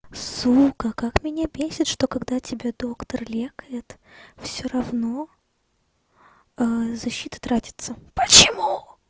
сука как меня бесит что когда тебя доктор лечит всё равно защита тратится почему